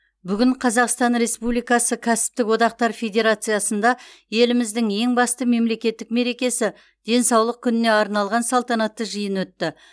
бүгін қазақстан республикасы кәсіптік одақтар федерациясында еліміздің ең басты мемлекеттік мерекесі денсаулық күніне арналған салтанатты жиын өтті